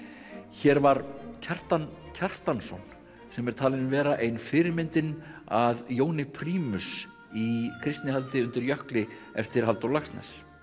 hér var Kjartan Kjartansson sem er talinn vera ein fyrirmyndin að Jóni prímus í Kristnihaldi undir jökli eftir Halldór Laxness